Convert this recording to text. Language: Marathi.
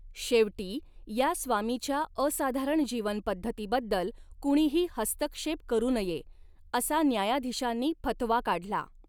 शेवटी, या स्वामीच्या असाधारण जीवनपद्धतीबद्दल कुणीही हस्तक्षेप करु नये, असा न्यायाधीशांनी फतवा काढला.